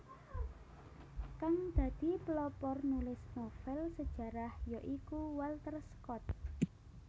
Kang dadi pelopor nulis novèl sejarah ya iku Walter Scott